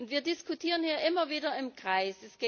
Wir diskutieren hier immer wieder im Kreis.